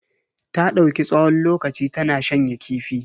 Ta dauki tsawon lokaci tana shanya kifi.